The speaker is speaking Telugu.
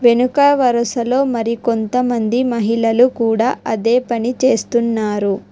వెనుక వరుసలో మరి కొంతమంది మహిళలు కూడా అదే పని చేస్తున్నారు.